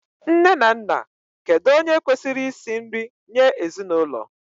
Nne na Nna, kedu onye kwesịrị isi nri nye ezinụlọ?